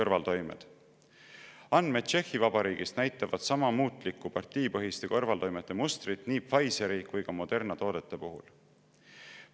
Andmed Tšehhi Vabariigist näitavad muutlikku partiipõhiste kõrvaltoimete mustrit nii Pfizeri kui ka Moderna toodete puhul.